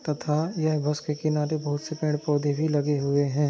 तथा यह बस के किनारे बहुत से पेड़ पोधे भी लगे हुए है।